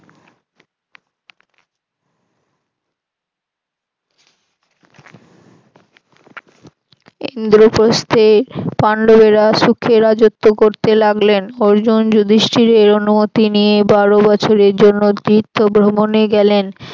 ইন্দ্রপ্রস্থে পান্ডবরা সুখে রাজত্ব্য করতে লাগলেন অর্জুন যুধিষ্ঠির এই অনুমতি নিয়ে বারো বছরের জন্য তীর্থ ভ্রমনে গেলেন।